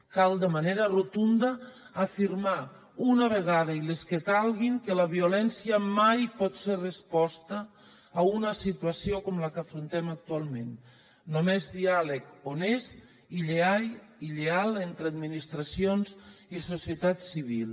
cal de manera rotunda afirmar una vegada i les que calguin que la violència mai pot ser resposta a una situació com la que afrontem actualment només diàleg honest i lleial entre administracions i societat civil